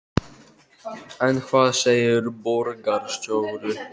En hvað segir borgarstjóri?